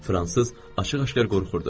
fransız açıq-aşkar qorxurdu.